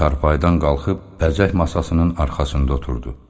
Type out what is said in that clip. Qadın çarpayıdan qalxıb bəzək masasınin arxasında oturdu.